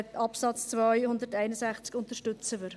Artikel 261 Absatz 2 unterstützen wir.